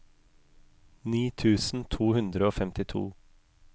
ni tusen to hundre og femtito